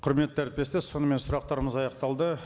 құрметті әріптестер сонымен сұрақтарымыз аяқталды